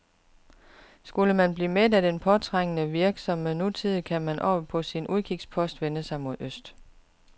Skulle man blive mæt af den påtrængende, virksomme nutid, kan man oppe på sin udkigspost vende sig mod øst.